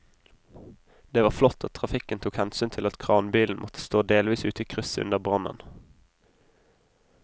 Det var flott at trafikken tok hensyn til at kranbilen måtte stå delvis ute i krysset under brannen.